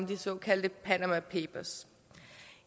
de såkaldte panama papers